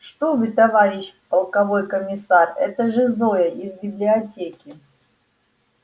что вы товарищ полковой комиссар это же зоя из библиотеки